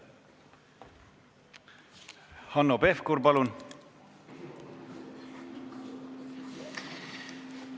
Hanno Pevkur, palun!